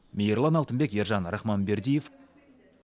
мирлан алтынбек ержан рахманбердиев